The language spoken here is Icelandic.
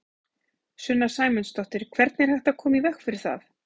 Sunna Sæmundsdóttir: Hvernig er hægt að koma í veg fyrir það?